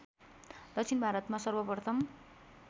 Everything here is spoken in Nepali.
दक्षिण भारतमा सर्वप्रथम